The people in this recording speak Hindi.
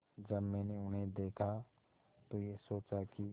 जब मैंने उन्हें देखा तो ये सोचा कि